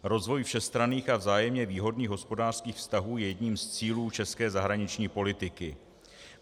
Rozvoj všestranných a vzájemně výhodných hospodářských vztahů je jedním z cílů české zahraniční politiky.